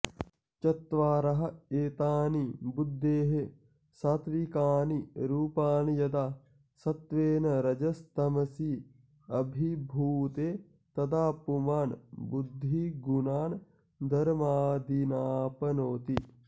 चत्वार एतानि बुद्धेः सात्त्विकानि रूपाणि यदा सत्त्वेन रजस्तमसी अभिभूते तदा पुमान् बुद्धिगुणान् धर्मादीनाप्नोति